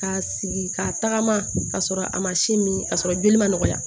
Ka sigi ka tagama ka sɔrɔ a ma sin min k'a sɔrɔ joli ma nɔgɔya